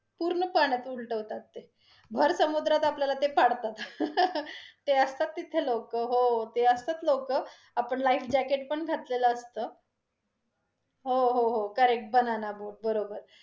पूर्ण पाण्यात उलटवतात ते, भर सुद्रात आपल्याला ते पडतात ते असतात तिथे लोकं, हो ते असतात लोक, आपण life jacket पण घातलेलं असत, हो हो correct banana boat बरोबर.